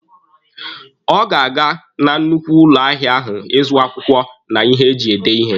Ọ ga-aga na nnukwu ụlọ ahịa ahụ ịzụ akwụkwọ na ihe eji ede ihe.